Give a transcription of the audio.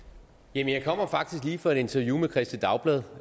jeg kommer faktisk lige fra et interview med kristeligt dagblad